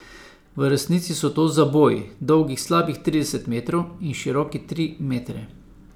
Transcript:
V resnici so to zaboji, dolgi slabih trideset metrov in široki tri metre.